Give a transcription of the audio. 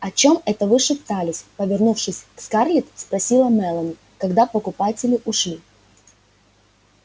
о чём это вы шептались повернувшись к скарлетт спросила мелани когда покупатели ушли